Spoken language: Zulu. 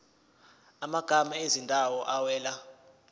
amagama ezindawo awela